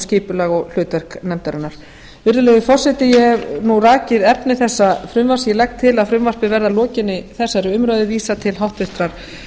skipulag og hlutverk nefndarinnar virðulegi forseti ég hef nú rakið efni þessa frumvarps ég legg til að frumvarpinu verði að lokinni þessari umræðu vísað til háttvirtrar